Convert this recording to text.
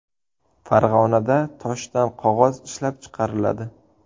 Farg‘onada toshdan qog‘oz ishlab chiqariladi.